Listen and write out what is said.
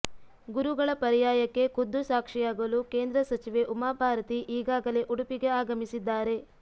ಗುರುಗಳ ಪರ್ಯಾಯಕ್ಕೆ ಖುದ್ದು ಸಾಕ್ಷಿಯಾಗಲು ಕೇಂದ್ರ ಸಚಿವೆ ಉಮಾಭಾರತಿ ಈಗಾಗಲೇ ಉಡುಪಿಗೆ ಆಗಮಿಸಿದ್ದಾರೆ